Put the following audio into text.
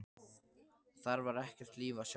Þar var ekkert líf að sjá.